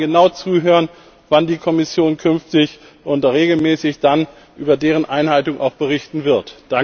Wir werden genau zuhören, wann die Kommission künftig und regelmäßig dann über deren Einhaltung berichten wird.